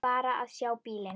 Bara að sjá bílinn.